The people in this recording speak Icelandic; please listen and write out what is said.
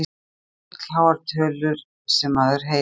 Þetta eru fullháar tölur sem maður heyrir.